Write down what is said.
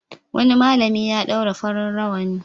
Wani malami ya ɗaura farin rawani.